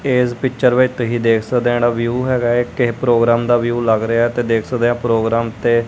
ਇਸ ਪਿਚਰ ਵਿੱਚ ਤੁਸੀਂ ਜਿਸ ਦਿਨ ਵਿਉ ਹੈਗਾ ਏ ਕਿਸੇ ਪ੍ਰੋਗਰਾਮ ਦਾ ਵਿਉ ਲੱਗ ਰਿਹਾ ਤੇ ਦਿਸ ਦੇ ਆ ਪ੍ਰੋਗਰਾਮ ਤੇ।